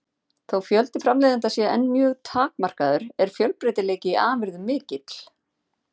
Þó fjöldi framleiðenda sé enn mjög takmarkaður er fjölbreytileiki í afurðum mikill.